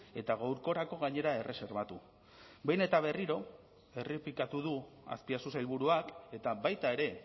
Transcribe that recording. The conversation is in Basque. eta gaurkorako gainera erreserbatu behin eta berriro errepikatu du azpiazu sailburuak eta baita ere